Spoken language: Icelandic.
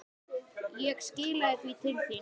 Ég skilaði því til þín.